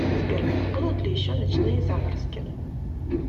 сбер будут ли еще ночные заморозки